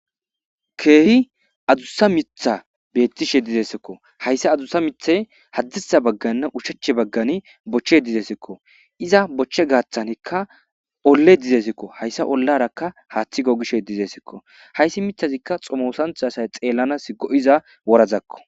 keehi adussa mitha beettishe dizeesikko hayssa adussa mithay haddiha bagganne ushache baggani bochche dizesikko iza bochche gaaththanikka olle dizeesikko hayssa ollarakka haaththi gogishe dizeesikko hayssi mithazikka xomosantha asay xeellanas go7iza worazakko